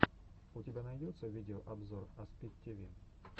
у тебя найдется видеообзор аспид тиви